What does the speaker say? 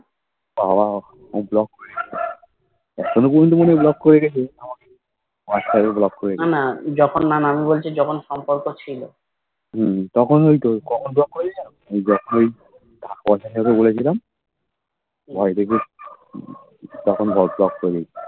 মাঝখানে Block করে রেখেছে হম তখন ঐতো কখনো block করে দিতো যখন পয়সার কথা বলেছিলামবাড়িতে গিয়ে তখন Block করে দিয়েছিলো